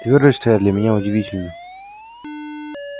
твёрдость твоя для меня удивительна